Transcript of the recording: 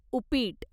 उप्पीट